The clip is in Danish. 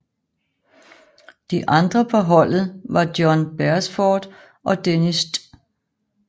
De andre på holdet var John Beresford og Denis St